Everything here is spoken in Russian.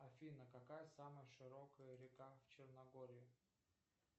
афина какая самая широкая река в черногории